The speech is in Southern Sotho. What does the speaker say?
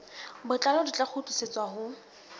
botlalo di tla kgutlisetswa ho